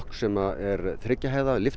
sem er þriggja hæða